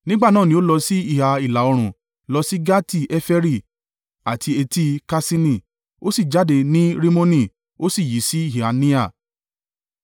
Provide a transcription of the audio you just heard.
Nígbà náà ní o lọ sí ìhà ìlà-oòrùn lọ sí Gati-Heferi àti Eti-Kaṣini, ó sì jáde ní Rimoni, ó sì yí sí ìhà Nea.